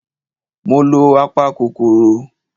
Mo lo apakòkòrò.